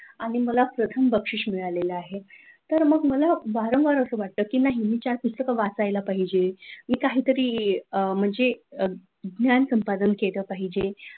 आणि मला प्रथम बक्षीस मिळाला आहे! तर मग मला असं वारंवार असं वाटत नाही चार पुस्तक मला वाचायला पाहिजे मी काहीतरी म्हणजे उद्यान संपादन केलं पाहिजे आणि,